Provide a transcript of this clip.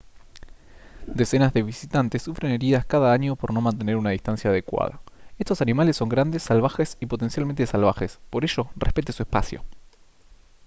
decenas de visitantes sufren heridas cada año por no mantener una distancia adecuada estos animales son grandes salvajes y potencialmente salvajes por ello respete su espacio